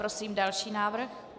Prosím další návrh.